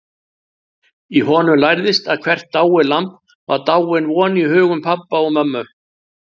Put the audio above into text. Og honum lærðist að hvert dáið lamb var dáin von í hugum pabba og mömmu.